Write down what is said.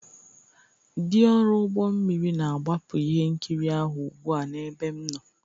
dị ọrụ ụgbọ mmiri na-agbapụ ihe nkiri ahụ ugbu a n'ebe m nọ